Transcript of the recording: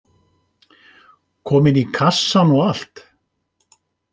Komin í kassann og allt.